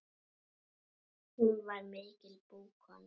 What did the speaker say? Hún var mikil búkona.